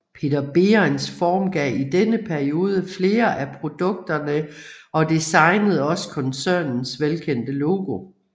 Peter Behrens formgav i denne periode flere af produkterne og designede også koncernens velkendte logo